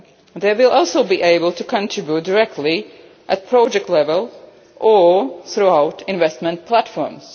They will also be able to contribute directly at project level or throughout investment platforms.